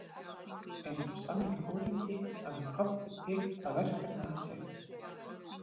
Eins og sannur foringi hafði Kobbi tekið það verkefni að sér.